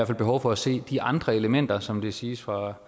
fald behov for at se de andre elementer som det siges fra